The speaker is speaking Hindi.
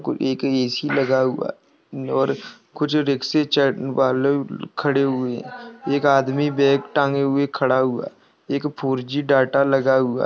एक एसी लगा हुआ और कुछ रिक्शे चढ़ने वाले खड़े हुए एक आदमी बैग टांगे हुए खड़ा हुआ एक फोरजी डेटा लगा हुआ --